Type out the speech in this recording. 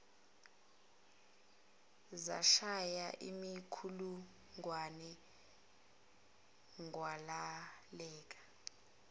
zashaya imikhulungwane kwabaleka